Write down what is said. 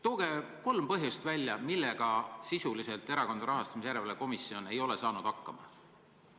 Tooge kolm põhjust, nimetage konkreetselt, millega sisuliselt Erakondade Rahastamise Järelevalve Komisjon ei ole hakkama saanud.